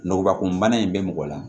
Nɔgɔnbakun bana in bɛ mɔgɔ la